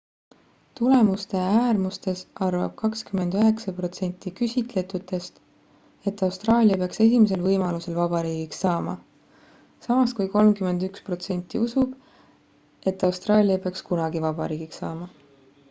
tulemuste äärmustes arvab 29% küsitletutest et austraalia peaks esimesel võimalusel vabariigiks saama samas kui 31% usub et austraalia ei peaks kunagi vabariigiks saama